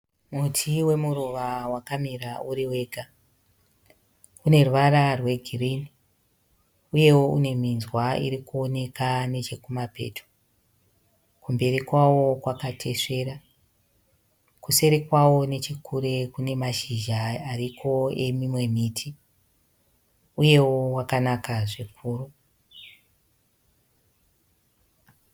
Muti wemuruva wakamira uri wega. Uneruvara rwegirini uyewo uneminzwa irikuoneka nechekumapeto. Kumberi kwawo kwakatesvera. Kuseri kwawo nechekure kunemashizha ariko emimwe miti uyewo wakanaka zvikuru.